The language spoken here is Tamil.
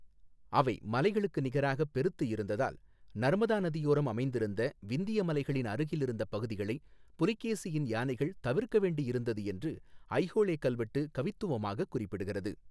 அவை மலைகளுக்கு நிகராக பெருத்து இருந்ததால் நர்மதா நதியோரம் அமைந்திருந்த விந்திய மலைகளின் அருகில் இருந்த பகுதிகளைப் புலிகேசியின் யானைகள் தவிர்க்க வேண்டி இருந்தது என்று ஐஹோளெ கல்வெட்டு கவித்துவமாகக் குறிப்பிடுகிறது.